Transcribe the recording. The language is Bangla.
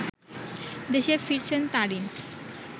দেশে ফিরছেন তারিন